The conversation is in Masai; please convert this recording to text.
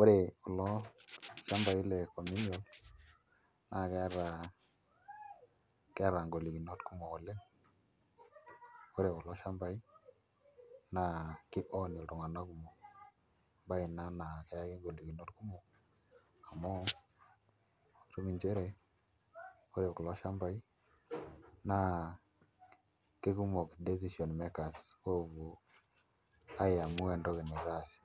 Ore kulo shambai le communal naa keeta ngolikinot kumok oleng' ore kulo shambai naa kiown iltung'anak kumok embaye ina naa keyaki ngolikinot kumok amu itum nchere ore kulo shambai naa kekumok decision makers oopuo aiamua entoki naitaasi